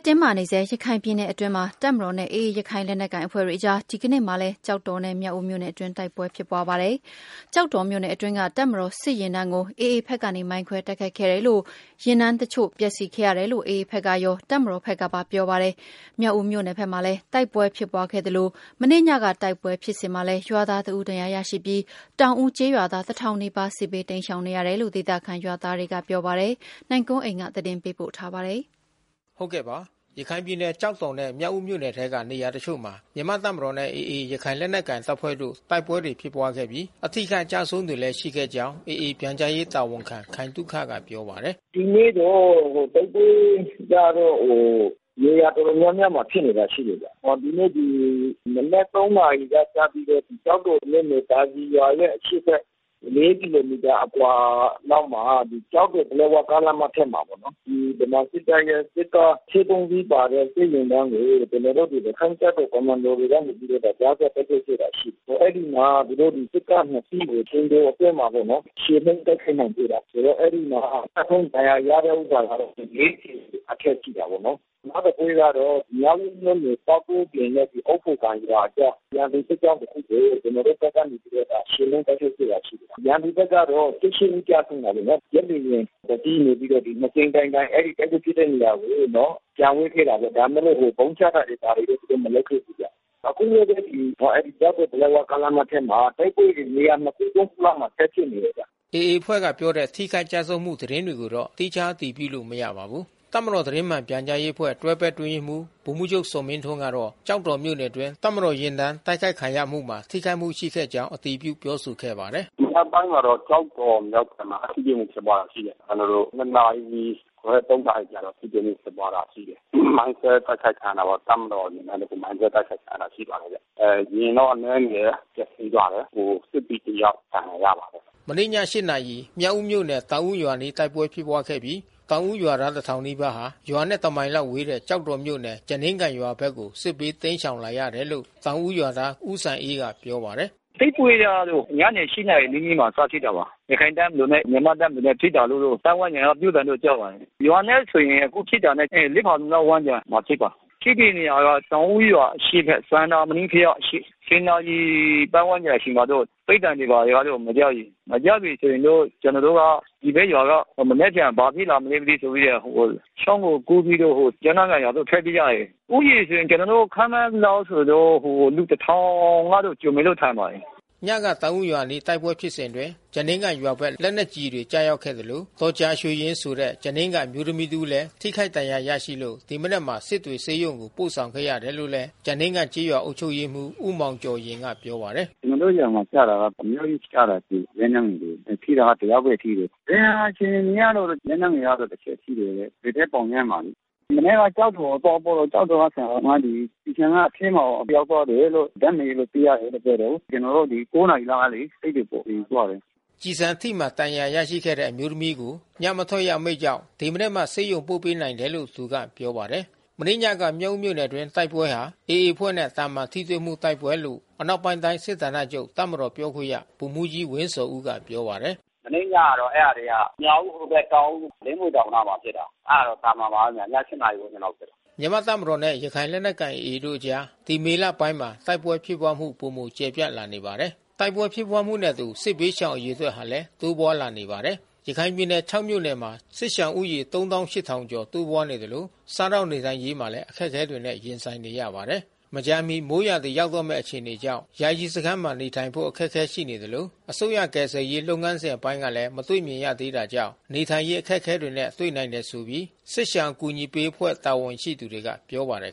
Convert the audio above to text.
တင်းမာနေတဲ့ ရခိုင်ပြည်နယ်မှာ တပ်မတော်နဲ့ AA ရခိုင်လက်နက်ကိုင်အဖွဲ့တို့ကြား ဒီကနေ့မှာလည်း တိုက်ပွဲတွေ ဆက်လက် ဖြစ်ပွားနေပြီး အရပ်သားတဦး အပါအဝင် ထိခိုက်မှုတွေလည်း ရှိခဲ့ပါတယ်။ ကျောက်တော်နဲ့ မြောက်ဦးမြို့နယ်တွေက နေရာတချို့မှာ ဖြစ်ပွားနေတဲ့ တိုက်ပွဲတွေကြောင့် ဒေသခံတွေလည်း ထွက်ပြေး တိမ်းရှောင်နေကြရတာပါ။ အပြည့်အစုံကိုတော့ ဗွီအိုအေ မြန်မာပိုင်း သတင်းထောက် နိုင်ကွန်းအိန်က သတင်းပေးပို့ ထားပါတယ်။ ရခိုင်ပြည်နယ် ကျောက်တော်နဲ့ မြောက်ဦးမြို့နယ်ထဲက နေရာတချို့မှာ မြန်မာ့တပ်မတော်နဲ့ AA ရခိုင်လက်နက်ကိုင် တပ်ဖွဲ့တို့ တိုက်ပွဲတွေ ဖြစ်ပွားခဲ့ပြီး၊ အထိအခိုက် အကျအဆုံးတွေလည်း ရှိခဲ့ကြောင်း AA အဖွဲ့ ပြန်ကြားရေးတာဝန်ခံ ခိုင်သုခက ပြောပါတယ်။ “ဒီနေ့တော့တိုက်ပွဲကတော့ နေရာတော်တော်များများမှာ ဖြစ်နေတာရှိတယ်။ ဒီနေ့ မနက် နာရီကစပြီးတော့ ကျောက်တော်မြို့နယ် သာစည်ရွာရဲ့ အရှေ့ဘက် ကီလိုမီတာအကွာလောက်မှာ ကျောက်တော် ပလက်ဝကားလမ်းမ အထက်မှာပေါ့နော်။ ဒီဗမာစစ်တပ်ရဲ့စစ်ကား အစီး စီးပါတဲ့ စစ်ယာဉ်တန်းကို ကျနော်တို့ ရခိုင့်တပ်တော်ကွန်မန်ဒိုတွေကနေ ကြားဖြတ်တိုက်ခိုက်ခဲ့တာ ရှိတယ်။ အဲဒီမှာ သူတို့စစ်ကား စီးကို အချိန်တိုအတွင်းမှာ ချေမှုန်း တိုက်ခိုက်နိုင်ခဲ့တယ်။ အဲဒီမှာ ကျဆုံးဒဏ်ရာရတဲ့ ဥစ္စာကတော့ အထက်ရှိတာပေါ့နော်။ နောက်တပွဲကတော့ မြောက်ဦးမြို့နယ် ပေါက်ကွင်းပြင်နဲ့ အုတ်ဖိုကန်ရွာအကြား ရန်သူစစ်ကြောင်းတခုကို ကျနော်တို့ဘက်ကနေပြီးတော့ ချေမှုန်းတိုက်ခိုက်ခဲ့တာ ရှိတယ်။ ရန်သူဘက်ကတော့ ဦး ကျဆုံးတာပေါ့နော်။ ဂျက်လေယာဉ် စီးနေပြီးတော့ ၂ကြိမ်တိုင်တိုင် အဲဒီတိုက်ပွဲဖြစ်ပွားတဲ့ နေရာကို ပျံဝဲခဲ့တာပေါ့။ ဒါပေမဲ့လို့ ဗုံးချခဲ့တာတော့ သူတို့မလုပ်ခဲ့ဘူးဗျ။ အခုလည်းပဲ ကျောက်တော် ပလက်ဝကားလမ်းထက်မှာ တိုက်ပွဲတွေနေရာ ခု၊ ခုလောက် ဆက်ဖြစ်နေတယ်ဗျ။” AA အဖွဲ့က ပြောတဲ့ ထိခိုက်ကျဆုံးမှု သတင်းတွေကိုတော့ သီးခြား အတည်ပြုလို့ မရပါဘူး။ တပ်မတော် သတင်းမှန်ပြန်ကြားရေးအဖွဲ့ တွဲဖက်အတွင်းရေးမှူး ဗိုလ်မှူးချုပ်ဇော်မင်းထွန်းကတာ့ ကျောက်တော်မြို့နယ်အတွင်း တပ်မတော် ယာဉ်တန်းတိုက်ခိုက်ခံရမှုမှာ ထိခိုက်မှုရှိခဲ့ကြောင်း အတည်ပြုပြောဆိုခဲ့ပါတယ်။ “မနက်ပိုင်းမှာတော့ ကျောက်တော်မြောက်ပိုင်းမှာ ထိတွေ့မှုဖြစ်ပွားတာ ရှိတယ်။ ကျနော်တို့ နာရီခွဲ နာရီကျတော့ ထိတွေ့မှု ဖြစ်ပွားတာ ရှိတယ်။ မိုင်းခွဲ တိုက်ခိုက်ခံရတာပေါ့။ တပ်မတော် ယာဉ်တန်းမိုင်းခွဲ တိုက်ခိုက်ခံရတာ ရှိပါတယ်။ ယာဉ်တော့အနည်းငယ် ပျက်စီးသွားတယ်။ စစ်သည်တယောက် ဒဏ်ရာရပါတယ်။” မနေ့ည နာရီ မြောက်ဦးမြို့နယ် တောင်ဦးရွာအနီး တိုက်ပွဲဖြစ်ပွားခဲ့ပြီး တောင်ဦးရွာသားတထောင်နီးပါးဟာ ရွာနဲ့ တမိုင်လောက်ဝေးတဲ့ ကျောက်တော်မြို့နယ် ကျားနင်းကန်ရွာဘက်ကို စစ်ဘေးတိမ်းရှောင်လာရတယ်လို့ တောင်ဦး ရွာသား ဦးစံအေးကပြောပါတယ်။ “တိုက်ပွဲကတော့ ညနေ နာရီနီးနီးမှ စဖြစ်တာပါ။ ရခိုင်တပ်မတော်နဲ့မြန်မာ့တပ်မတော်နဲ့ဖြစ်တာလို့တော့ ပါတ်ဝန်းကျင် ကပြောသံတော့ကြားပါတယ်။ ရွာနဲ့ဆိုရင် အခုဖြစ်တာနဲ့ ဖါလုံလောက် ဝန်းကျင်မှာ ဖြစ်ပါတယ်။ ဖြစ်တဲ့နေရာက တောင်ဦးရွာရဲ့အရှေ့ဘက် စန္နာမဏိဘုရားအရှေ့။ နာရီပါတ်ဝန်းကျင် အချိန်မှာတော့ ပစ်သံတွေတော့ မကြားပြီ။ မကြားပြီ ဆို ရင်တော့ကျနော်တို့က ဒီဘက်ရွာက မနက်ဖြန် ဘာဖြစ်လာမလဲမသိဆိုပြီးတော့ ချောင်းကိုကူးပြီးတော့ ကျားနင်းကန်ရွာကို ထွက်ပြေးကြတယ်။ ဦးရေဆိုရင်ကျနော်တို့ ခန့်မှန်းသလောက်ဆိုရင်တော့ လူ ကျော်လောက်တော့ ထင်ပါတယ်။” ညကတောင် ဦးရွာအနားက တိုက်ပွဲဖြစ်စဉ်အတွင်း ကျားနင်းကန်ရွာဘက် လက်နက်ကျည်တွေ ကျရောက်ခဲ့သလို ဒေါ်ကြာရွှေယဉ်ဆိုတဲ့ ကျားနင်းကန် အမျိုးသမီးတဦးလည်း ထိခိုက်ဒဏ်ရာရရှိလို့ ဒီမနက်မှာ စစ်တွေဆေးရုံကိုပို့ ဆောင်ခဲ့ ရတယ်လို့ ကျားနင်းကန်ကျေးရွာအုပ်ချုပ်ရေးမှူး ဦးမောင်ကျော်ယဉ်က ပြောပါတယ်။ “ကျနော်တို့ ရွာမှကျတာက အများကြီးကျတယ်... လက်နက်ငယ်တွေ။ ထိတာကတယောက်ပဲ ထိတယ်။ ဒဏ်ရာ အခြေအနေကတော့ လက်နက်ငယ် တချက် ထိတယ်တဲ့။ ဘယ်ဘက်ပေါင်ထဲမှာလေ။ မနက်က ကျောက်တော်ကို သွားပို့တော့ ကျောက်တော်က ဆရာသမားတွေ ကျည်ဆံက အထဲကို ရောက်သွားလို့ ဓါတ်မှန်ရိုက်လို့ သိရတယ်လို့ ပြောတယ်။ ကျနော် ဒီ နာရီလောက်ကလေ စစ်တွေပို့ဖို့ ယူသွားတယ်။” ကျည်ဆံထိမှန်ဒဏ်ရာ ရရှိခဲ့တဲ့ အမျိုးသမီးကို ညမထွက်ရ အမိန့်ကြောင့် ဒီမနက်မှ ဆေးရုံပို့ပေးနိုင်တယ်လို့ သူက ပြောပါတယ်။ မနေ့ညက မြောက်ဦးမြို့နယ်အတွင်း တိုက်ပွဲဟာ AA အဖွဲ့နဲ့ သာမန်ထိတွေ့မှု တိုက်ပွဲလို့ အနောက်ပိုင်း တိုင်းစစ်ဌာနချုပ် တပ်မတော်ပြောခွင့်ရ ဗိုလ်မှူးကြီး ဝင်းဇော်ဦးက ပြောပါတယ်။ “မနေ့ညကတော့ အဲ့တာတွေက မြောက်ဦးဟိုဘက် တောင်ဦး။ လင်းမြွေတောင်နားမှာ ဖြစ်တာ။ အဲ့တာကတော့ သာမန်ပါပဲဗျ။ ည နာရီဝန်းကျင်လောက် ဖြစ်တာ။” မြန်မာ့တပ်မတော်နဲ့ ရခိုင့်လက်နက်ကိုင် AA တို့အကြား ဒီမေလပိုင်းမှာ တိုက်ပွဲဖြစ်ပွားမှု ပိုမို ကျယ်ပြန့်လာနေတာပါ။ တိုက်ပွဲဖြစ်ပွားမှုနဲ့အတူ စစ်ဘေးရှောင်အရေအတွက်ဟာလည်း တိုးပွားလာနေပါတယ်။ ရခိုင်ပြည်နယ် မြို့နယ်မှာ စစ်ရှောင်ဦးရေ ကျော် တိုးပွားနေသလို စားသောက်နေထိုင်ရေးမှာလည်း အခက်ခဲတွေနဲ့ ရင်ဆိုင်နေရပါတယ်။ မကြာမီ မိုးရာသီရောက်တော့မယ့် အခြေအနေကြောင့် ယာယီစခန်းမှာနေထိုင်ဖို့ အခက်ခဲရှိနေသလို အစိုးရကယ်ဆယ်ရေး လုပ်ငန်းစဉ်အပိုင်းကလည်း မတွေ့မြင်ရသေးတာကြောင့် နေထိုင်ရေး အခက်ခဲတွေနဲ့ တွေ့နိုင်တယ်ဆိုပြီး စစ်ရှောင်အကူညီပေးအဖွဲ့ တာဝန်ရှိသူတွေက ပြောပါတယ်